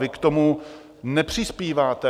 Vy k tomu nepřispíváte.